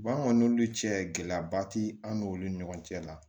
Ba an kɔni n'olu cɛ gɛlɛyaba tɛ an n'olu ni ɲɔgɔn cɛ la la